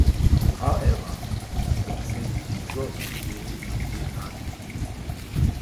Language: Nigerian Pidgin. however e tok say di result go dey go dey hard to predict